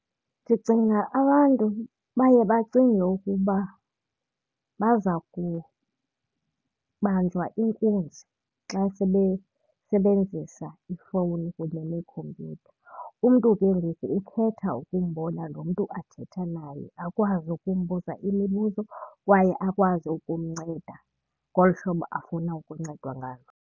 Ndicinga abantu baye bacinge ukuba baza kubanjwa inkunzi xa sebesebenzisa ifowuni kunye neekhompyutha. Umntu ke ngoku ukhetha ukumbona lo mntu athetha naye, akwazi ukumbuza imibuzo kwaye akwazi ukumnceda ngolu hlobo afuna ukuncedwa ngalo.